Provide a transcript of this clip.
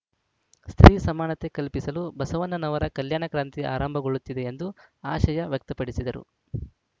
ಸ್ತ್ರೀ ಸಮಾನತೆ ಕಲ್ಪಿಸಲು ಬಸವಣ್ಣನವರ ಕಲ್ಯಾಣ ಕ್ರಾಂತಿ ಆರಂಭಗೊಳ್ಳುತ್ತದೆ ಎಂದು ಆಶಯ ವ್ಯಕ್ತಪಡಿಸಿದರು